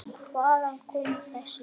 Hvaðan koma þessi hljóð?